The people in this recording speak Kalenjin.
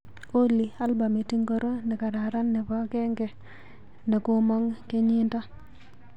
Olly, albamit ingoro nekararan nebo genge nekomang kenyindo?